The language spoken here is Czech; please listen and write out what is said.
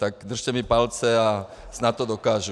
Tak mi držte palce a snad to dokážu.